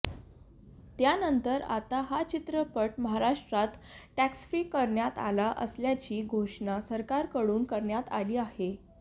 त्यानंतर आता हा चित्रपट महाराष्ट्रात टॅक्स फ्री करण्यात आला असल्याची घोषणा सरकारकडून करण्यात आली आहे